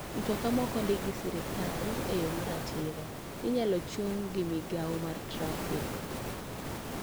Mtoka ma ok ondiki gi sirkal e yo maratiro inyalo chung gi mogao mar trafik.